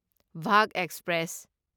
Bagaha express